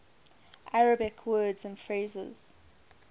arabic words and phrases